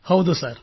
ಹೌದು ಸರ್